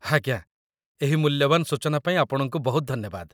ଆଜ୍ଞା, ଏହି ମୂଲ୍ୟବାନ ସୂଚନା ପାଇଁ ଆପଣଙ୍କୁ ବହୁତ ଧନ୍ୟବାଦ